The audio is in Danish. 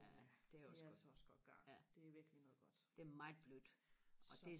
ja det er også godt ja det er meget blødt og det